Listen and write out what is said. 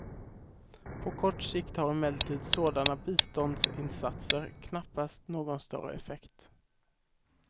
På kort sikt har emellertid sådana biståndsinsatser knappast någon större effekt.